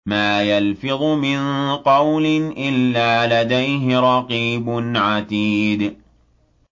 مَّا يَلْفِظُ مِن قَوْلٍ إِلَّا لَدَيْهِ رَقِيبٌ عَتِيدٌ